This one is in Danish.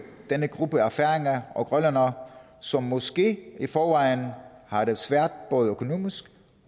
denne gruppe af færinger og grønlændere som måske i forvejen har det svært både økonomisk